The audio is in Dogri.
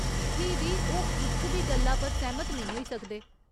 फ्ही बी ओह् इक बी गल्ला पर सैह्‌मत नेईं होई सकदे।